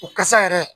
O kasa yɛrɛ